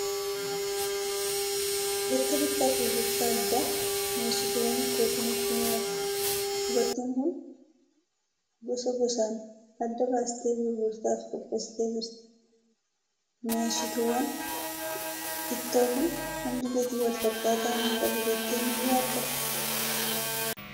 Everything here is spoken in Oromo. Bakka bittaa fi gurgurtaa addaa miny'eessituwwan ittootu nutti mul'ata. Dubartiin kun gosa gosaan adda baastee gurgurtaaf qopheessitee jirti. Miny'eessituuwwan ittoo kun hundi gatii wal fakkaataa ni qabu jettee ni yaaddaa?